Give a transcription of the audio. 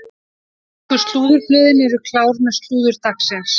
Ensku slúðurblöðin eru klár með slúður dagsins.